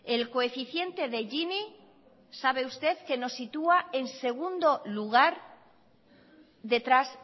el coeficiente de gini sabe usted que nos sitúa en segundo lugar detrás